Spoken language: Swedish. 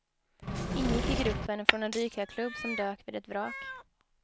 Ingick i grupp från en dykarklubb som dök vid ett vrak.